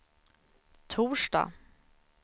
torsdag